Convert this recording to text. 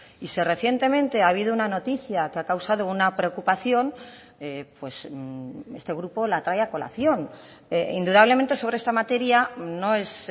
y si recientemente ha habido una noticia que ha causado una preocupación este grupo la trae a colación indudablemente sobre esta materia no es